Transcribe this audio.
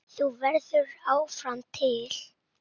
Þú verður áfram til.